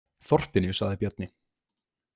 Þorpinu, sagði Bjarni.